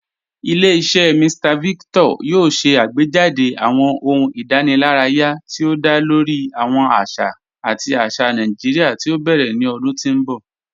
Ilẹ̀-iṣẹ Mr Victor yoo ṣè àgbéjádé̀ awọn ọ̀hùn ìdànìláraya ti o dá lórí awọn àṣà àti àṣà Naijiria ti o bẹrẹ̀ ni ọ̀dún ti n bọ̀.